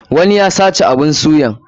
Wani ya sace abun suyan.